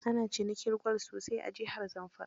Ana cinikin gwal sosai a jihar Zamfara.